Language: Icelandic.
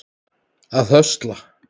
að höstla